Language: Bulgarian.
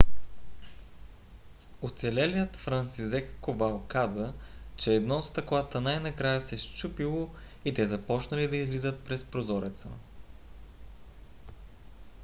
оцелелият франсизек ковал каза че едно от стъклата най - накрая се счупило и те започнали да излизат през прозореца.